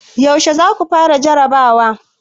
yaushe za ku fara jarrabawa?